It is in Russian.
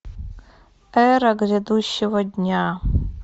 эра грядущего дня